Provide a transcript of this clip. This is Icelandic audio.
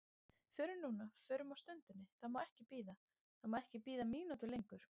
Förum núna, förum á stundinni, það má ekki bíða, það má ekki bíða mínútu lengur.